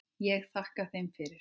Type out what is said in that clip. Ég þakkaði þeim fyrir.